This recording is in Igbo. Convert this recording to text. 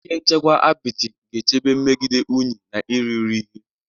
Ihe nchekwa apịtị ga-echebe megide unyi na irighiri ihe.